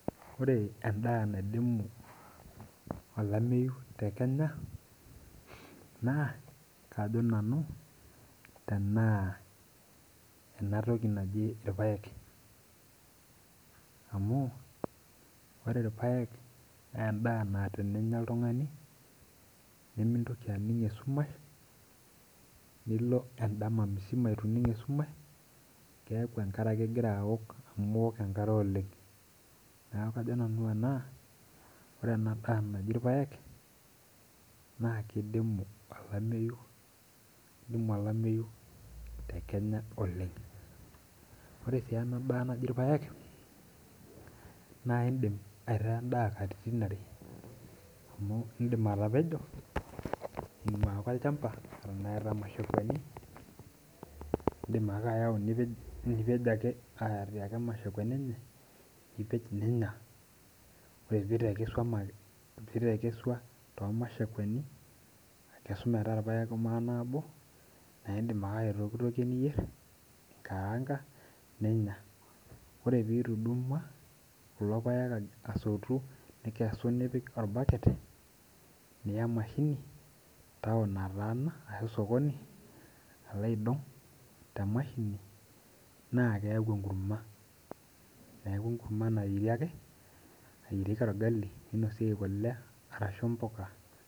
Ore endaa naidimu olameyu tekenya na kajo nanu tenaa enatoki ejii irpaek amu ore enkae na endaa na eninya oltung'ani nimintoki aning' esumash nilo endama musima ituining' esumash keaku enkare ake ingiraa aok, neaku kajo nanu ore ena daa naji irpaek na kidimu olameyu tekenya oleng'. Ore si enkae siai orpaek na indim aitaa endaa katitin are amu indim atapejo ing'ua ake olchamba indim bake ayau nipej aitau ormashakua lenye nipej ninua ore pitekesua tormashakuani akesu metaa irpaek manabo na indim ake atekesu niyier aikaanga ninya ore pitudumua kulo paek asotu nikesu nipik orbaket taun nataana ashu osokoni alo aidong temashini na keaku enkurma nayierieki orgali ninosieki kule ashu mpuka.